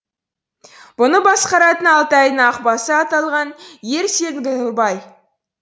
бұны басқаратын алтайдың ақбасы аталған ер сеңгірбай